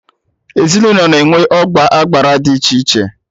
Ezinụlọ na-enwe ọgba agbara dị iche iche